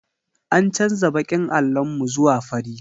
An canza baƙin allon mu zuwa fari.